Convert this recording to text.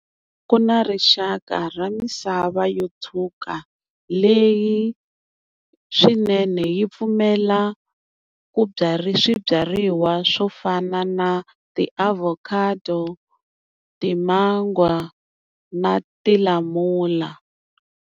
Ku na rixaka ra misava yo tshuka leyi swinene yi pfumela ku byala swibyariwa swo fana na tiavocado, timangwa na tilamula.